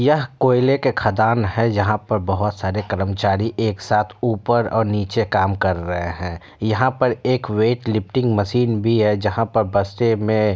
यह कोयले के खदान है जहाँ पर बहोत सारे कर्मचारी एक साथ ऊपर और निचे काम कर रहे हैं। यहाँ पर एक वेट लिफ्टिंग मशीन भी है जहाँ पर बक्से में--